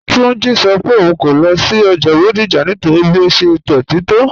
Túnjí́ sọ́ pé ọ̀un kò lọ sí ọ́jà Bodija nítorí bí ó ṣẹ̀ dọ́tí tó